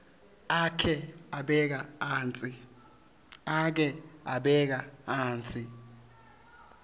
akhe abeka atsi